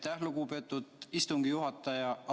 Aitäh, lugupeetud istungi juhataja!